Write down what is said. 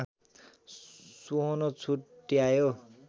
सोहोन छुट्यायो